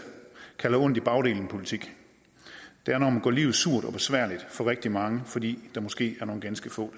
kalder en ondt i bagdelen politik det er når man gør livet surt og besværligt for rigtig mange fordi der måske er nogle ganske få